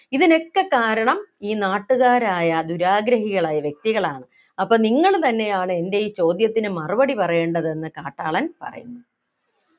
ഇതിനൊക്കെ കാരണം ഈ നാട്ടുകാരായ ദുരാഗ്രഹികൾ ആയ വ്യക്തികളാണ് അപ്പോൾ നിങ്ങൾ തന്നെയാണ് എൻ്റെ ഈ ചോദ്യത്തിന് മറുപടി പറയേണ്ടത് എന്ന് കാട്ടാളൻ പറയുന്നു